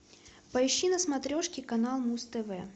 поищи на смотрешке канал муз тв